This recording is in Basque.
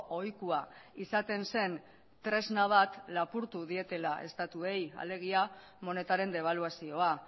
ohikoa izaten zen tresna bat lapurtu dietela estatuei alegia monetaren debaluazioa